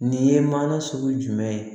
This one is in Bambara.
Nin ye mana sugu jumɛn ye